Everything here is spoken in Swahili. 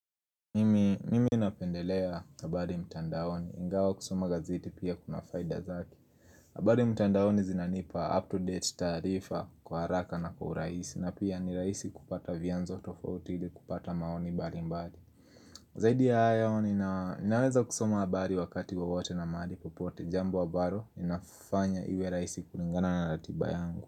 Mimi napendelea habari mtandaoni ingawa kusoma gazeti pia kuna faida zake habari mtandaoni zinanipa up-to-date taarifa kwa haraka na kwa urahisi na pia ni raisi kupata vianzo tofauti ili kupata maoni mbalimbali Zaidi ya hayo ninaweza kusoma habari wakati wowote na mahali popote jambo ambalo inafanya iwe raihisi kulingana na ratiba yangu.